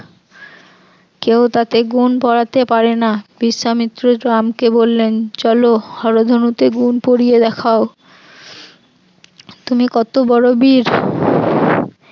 কেউ তাতে গুণ পড়াতে পারে না, বিশ্বামিত্র রাম কে বললেন চলো হর ধনুতে গুণ পরিয়ে দেখাও তুমি কত বড় বীর